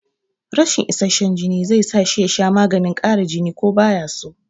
Rashin isasshen jini zai sa shi ya sha maganin ƙara jini ko baya so